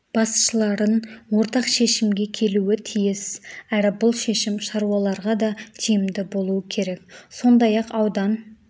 басшыларын ортақ шешімге келуі тиіс әрі бұл шешім шаруаларға да тиімді болуы керек сондай-ақ аудан